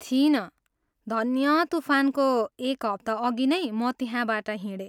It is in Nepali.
थिइनँ, धन्य तुफानको एक हप्ताअघि नैँ म त्यहाँबाट हिँडेँ।